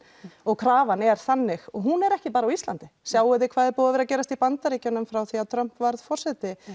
og krafan er þannig og hún er ekki bara á Íslandi sjáið þið hvað er búið að vera að gerast í Bandaríkjunum frá því að Trump varð forseti